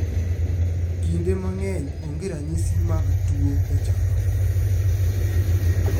Kinde mang�eny onge ranyisi mag tuo e chakruok